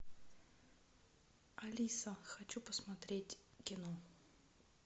алиса хочу посмотреть кино